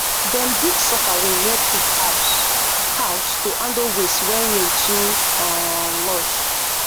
dem dig soakaway near pig house house to handle waste when rain too um much